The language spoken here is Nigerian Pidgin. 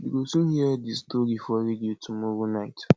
you go soon hear the story for radio tomorrow night